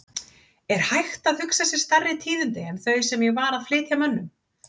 Er hægt að hugsa sér stærri tíðindi en þau sem ég var að flytja mönnum?!